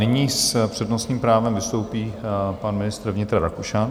Nyní s přednostním právem vystoupí pan ministr vnitra Rakušan.